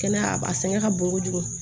Kɛnɛya a sɛgɛn ka bon kojugu